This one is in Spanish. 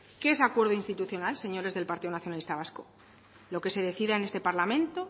qué es acuerdo institucional señores del partido nacionalista vasco lo que se decida en este parlamento